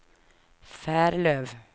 Färlöv